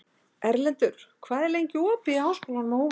Erlendur, hvað er lengi opið í Háskólanum á Hólum?